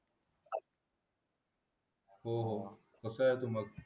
हो तसंच ते मग